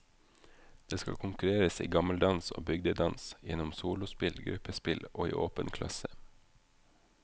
Det skal konkurreres i gammeldans og bygdedans gjennom solospill, gruppespill og i åpen klasse.